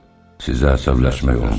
Sizə əsəbləşmək olmaz.